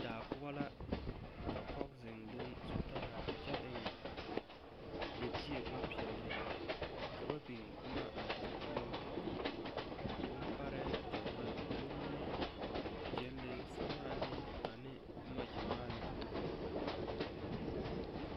Daa poɔ la ka pɔge zeŋ leŋ zutara kyɛ eŋ libie bompeɛle a daa poɔ bmpaɛrɛɛ gyamaa kommie, gyɛnlee, samaane, ane boma gyamaa la ka ba biŋ a daa poɔ.